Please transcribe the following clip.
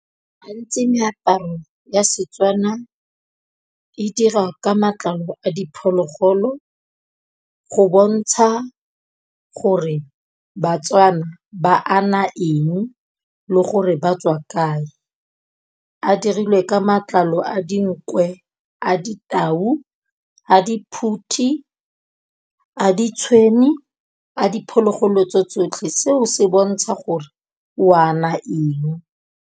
Gantsi meaparo ya Setswana e dira ka matlalo a diphologolo go bontsha gore, Batswana ba ana eng le gore ba tswa kae. A dirilwe ka matlalo a dinkwe, a ditau, a diphuthi, a ditshwene, a diphologolo tse tsotlhe seo se bontsha gore o ana eng.